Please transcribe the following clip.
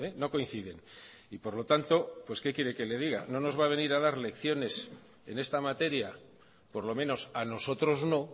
no coinciden y por lo tanto qué quiere que le diga no nos va a venir a dar lecciones en esta materia por lo menos a nosotros no